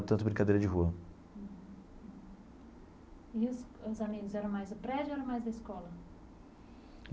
Tanto brincadeira de rua. E os os amigos, era mais do prédio ou era mais da escola?